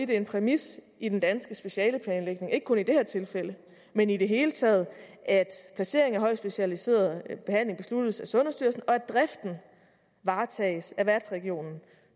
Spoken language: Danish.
det er en præmis i den danske specialeplanlægning ikke kun i det her tilfælde men i det hele taget at placering af højt specialiseret behandling besluttes af sundhedsstyrelsen og at driften varetages af værtsregionen